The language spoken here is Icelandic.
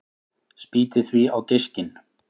Spýti því á diskinn.